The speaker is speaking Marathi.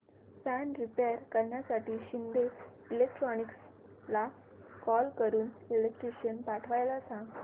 फॅन रिपेयर करण्यासाठी शिंदे इलेक्ट्रॉनिक्सला कॉल करून इलेक्ट्रिशियन पाठवायला सांग